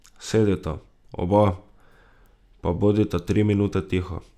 Sedita, oba, pa bodita tri minute tiho.